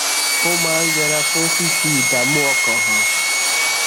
ó máa ń yẹra fún fífi ìdààmú ọkàn hàn